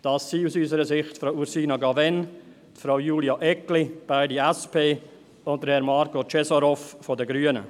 Das sind aus unserer Sicht Frau Ursina Cavegn, Frau Julia Eggli, beide SP, und Herr Marko Cesarov von den Grünen.